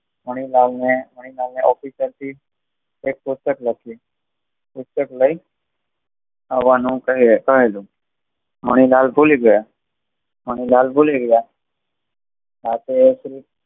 મણિલાલ ને મણિલાલ ને ઓફિસેર થી એક પુસ્તક લખી પુસ્તક લઇ આવાનું કહે છે, મણિલાલ ભૂલી ગયા, મણિલાલ ભૂલી ગયા. આ તોએ